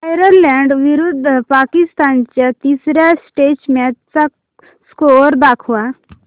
Ireland विरुद्ध पाकिस्तान च्या तिसर्या टेस्ट मॅच चा स्कोअर दाखवा